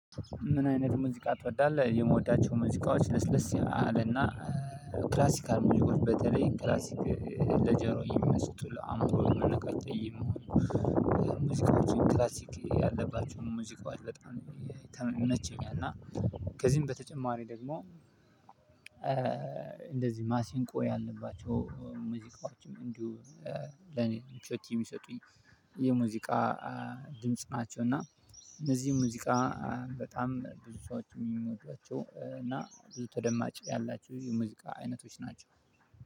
ምን አይነት ሙዚቃ ትወዳለህ? የምወዳቸው ሙዚቃዎች ለስለስ አለና ክላሲካል ሙዚቃዎች በተለይ ክላስክ ለጆሮ የሚመስጡ ለአእምሮ የምመቹ ሙዚቃዎችን ክላሲክ ያለባቸው ን ሙዚቃዎች በጣም ይመቸኛል። እና ከዚህም በተጨማሪ ደግሞ እንደዚህ ማሲንቆ ያለባቸው ሙዚቃዎችም እንዲሁ ለኔ ትኩራት የምሰጡኝ የሙዚቃ ድምጽ ናቸው። እና እነዚህ ሙዚቃ በጣም ብዙ ሰዎች የሚወዷቸው እና ብዙ ተደማጭ ያላቸው የሙዚቃ አይነቶች ናቸው።